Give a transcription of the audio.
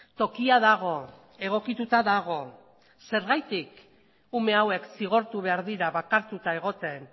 tokia dago egokituta dago zergatik ume hauek zigortu behar dira bakartuta egoten